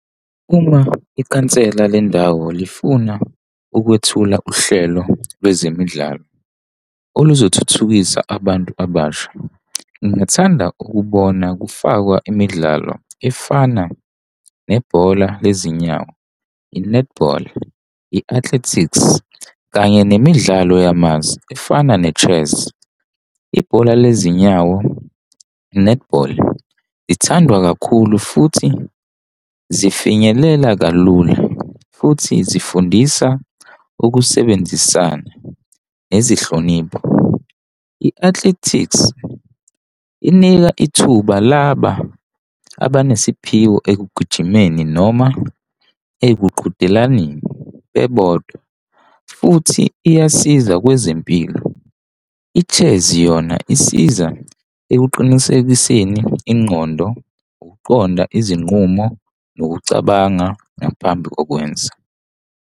Uma ikhansela lendawo lifuna ukuthula uhlelo lwezemidlalo oluzothuthukisa abantu abasha, ngithanda ukubona kufakwa imidlalo efana nebhola lezinyawo. I-netball, i-athletics kanye nemidlalo yamazwe efana ne-chess. Ibhola lezinyawo i-netball ithandwa kakhulu futhi zifinyelela kalula futhi zifundisa ukusebenzisana nezihlonipho. I-athletics inika ithuba laba abanesiphiwo ekugijima noma ekuqhudelaneni bebodwa futhi iyasiza kwezempilo. I-chess yona isiza ekuqinisekiseni ingqondo, ukuqonda izinqumo, nokucabanga ngaphambi kokwenza.